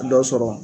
Dɔ sɔrɔ